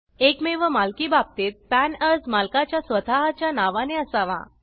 एकमेव मालकी बाबतीत पॅन अर्ज मालकाच्या स्वत च्या नावाने असावा